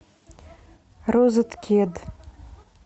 розеткед